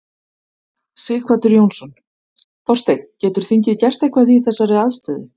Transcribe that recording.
Sighvatur Jónsson: Þorsteinn, getur þingið gert eitthvað í þessari aðstöðu?